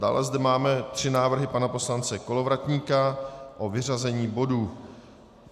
Dále zde máme tři návrhy pana poslance Kolovratníka na vyřazení bodů.